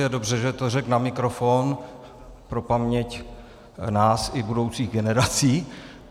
Je dobře, že to řekl na mikrofon pro paměť nás i budoucích generací.